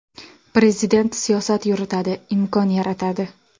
Prezident siyosat yuritadi, imkon yaratadi.